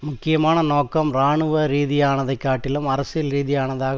முக்கியமான நோக்கம் இராணுவ ரீதியானதைக் காட்டிலும் அரசியல் ரீதியானதாக